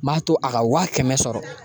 Ma to a ka wa kɛmɛ sɔrɔ